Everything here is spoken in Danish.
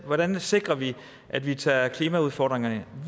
hvordan sikrer vi at vi tager klimaudfordringerne